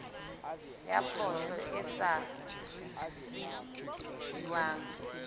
ya poso e sa risefuwang